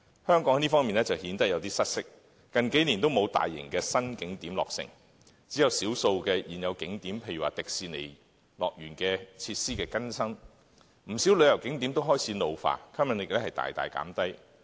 香港在這方面就顯得有點失色，近幾年都沒有大型的新景點落成，只有少數現有景點，例如需更新設施的迪士尼樂園，而且不少景點都開始老化，吸引力大大減低。